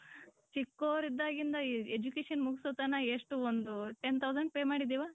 ಚಿಕ್ಕೊರ್ ಇದಗಿಂದ education ಮುಗ್ಸೋತನ ಎಷ್ಟು ಒಂದು ten thousand pay ಮಾಡಿದಿವ .